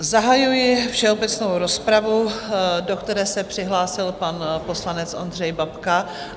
Zahajuji všeobecnou rozpravu, do které se přihlásil pan poslanec Ondřej Babka.